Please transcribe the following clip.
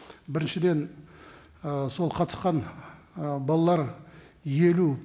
біріншіден ы сол қатысқан ы балалар елу